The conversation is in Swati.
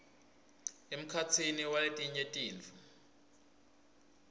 emkhatsini waletinye tintfo